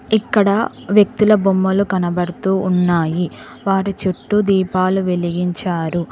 ఇక్కడ వ్యక్తుల బొమ్మలు కనబడుతూ ఉన్నాయి వారి చుట్టూ దీపాలు వెలిగించారు.